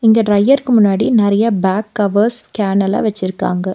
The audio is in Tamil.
இங்க டிரையருக்கு முன்னாடி நறைய பேக் கவர்ஸ் கேன் எல்லா வெச்சிருக்காங்க.